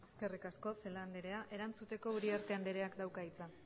eskerrik asko celaá andrea erantzuteko uriarte andreak dauka hitza